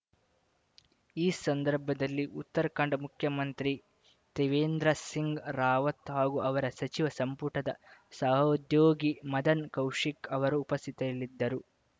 ಈ ಸಂದರ್ಭದಲ್ಲಿ ಉತ್ತರಾಖಂಡ್‌ ಮುಖ್ಯಮಂತ್ರಿ ತ್ರಿವೇಂದ್ರ ಸಿಂಗ್‌ ರಾವತ್‌ ಹಾಗೂ ಅವರ ಸಚಿವ ಸಂಪುಟದ ಸಹೋದ್ಯೋಗಿ ಮದನ್‌ ಕೌಶಿಕ್‌ ಅವರು ಉಪಸ್ಥಿತಿಯಲ್ಲಿದ್ದರು